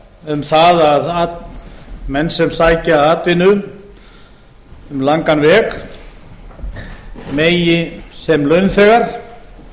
um það að menn sem sækja atvinnu um langan veg megi sem launþegar